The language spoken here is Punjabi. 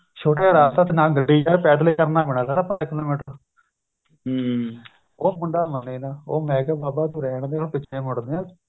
ਛੋਟਾ ਰਾਸਤਾ ਨਾ ਗੱਡੀ ਏ ਪੇਦਲ ਕਰਨਾ ਪੈਣਾ ਸਾਰਾ ਉਹ ਮੁੰਡਾ ਮੰਨੇ ਨਾ ਉਹ ਮੈ ਕਿਹਾ ਬਾਬਾ ਰਹਿਣ ਦੇ ਹੁਣ ਪਿਛੇ ਮੁੜਦੇ ਏ